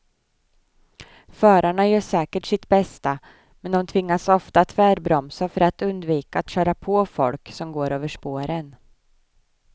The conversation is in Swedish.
Förarna gör säkert sitt bästa, men de tvingas ofta tvärbromsa för att undvika att köra på folk som går över spåren.